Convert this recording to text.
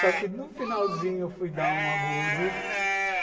Só que no finalzinho eu fui dar um agudo.